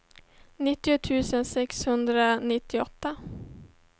nittio tusen sexhundranittioåtta